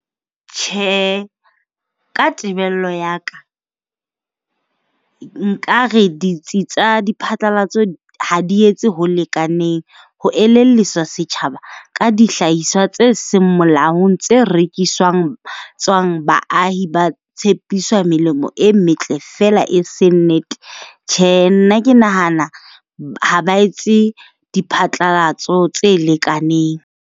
Tjhe, ka tebello ya ka, nkare ditsi tsa diphatlalatso ha di etse ho lekaneng ho elelliswa setjhaba ka dihlahiswa tse seng molaong. Tse rekiswang tswang, baahi ba tshepiswa melemo e metle fela e se nnete. Tjhe, nna ke nahana ha ba etse diphatlalatso tse lekaneng.